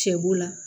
Sɛ bo la